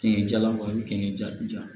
Kinni jalan ja